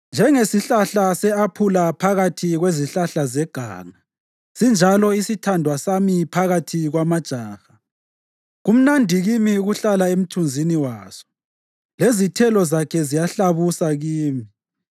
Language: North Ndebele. Njengesihlahla se-aphula phakathi kwezihlahla zeganga sinjalo isithandwa sami phakathi kwamajaha. Kumnandi kimi ukuhlala emthunzini waso, lezithelo zakhe ziyahlabusa kimi.